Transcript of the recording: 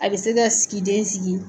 A bɛ se ka sigi den sigi